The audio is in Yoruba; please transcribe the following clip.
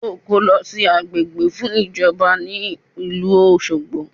Yóò kó lọ sí agbègbè fún ìjọba ní ìlú Òṣogbo